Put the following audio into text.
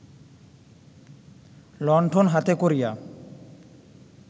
লণ্ঠন হাতে করিয়া